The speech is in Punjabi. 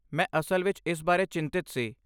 ਮੈਂ ਅਸਲ ਵਿੱਚ ਇਸ ਬਾਰੇ ਚਿੰਤਤ ਸੀ।